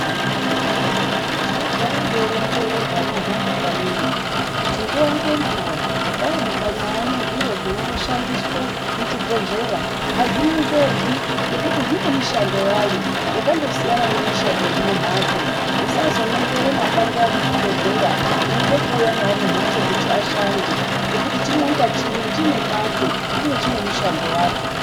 Ndinogara ndeironzera hwana hwangu kanyiyo kuti nguwa ngenguwa dai mukanyona zviro zvinoshandiswa kuzvibhedhlera azvinongerwi ngekuti zvine mishando yayo yakandosiyana nemishando yemumbatso musazonongera mapanga emuzvibhedhlera mweida kuuya nawo mumbatso kuti ashande ngekuti chimwe nachimwe chine pacho uye chinemashandiro acho .